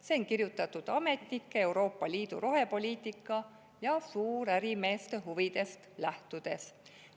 See on kirjutatud ametnike, Euroopa Liidu rohepoliitika ja suurärimeeste huvidest lähtudes.